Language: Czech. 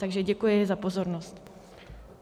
Takže děkuji za pozornost.